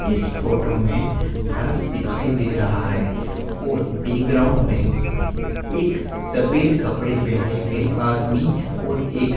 इस फोटो में फर्श दिखाई दे रहा है और बैकग्राउंड में एक सफेद कपड़े पहने हुए आदमी और एक--